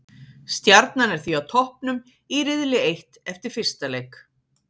Stjarnan er því á toppnum í riðli eitt eftir fyrsta leik.